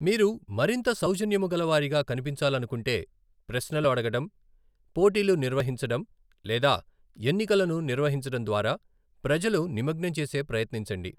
మీరు మరింత సౌజన్యముగలవారిగా కనిపించాలనుకుంటే ప్రశ్నలు అడగడం, పోటీలు నిర్వహించడం లేదా ఎన్నికలను నిర్వహించడం ద్వారా ప్రజలు నిమగ్నం చేసే ప్రయత్నించండి.